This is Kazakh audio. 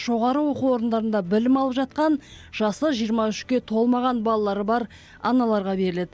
жоғары оқу орындарында білім алып жатқан жасы жиырма үшке толмаған балалары бар аналарға беріледі